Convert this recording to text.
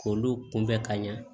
K'olu kunbɛ ka ɲɛ